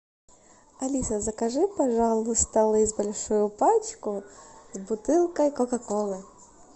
алиса закажи пожалуйста лейс большую пачку с бутылкой кока колы